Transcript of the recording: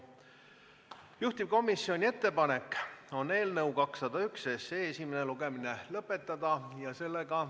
Juhtivkomisjoni ettepanek on eelnõu 201 esimene lugemine lõpetada.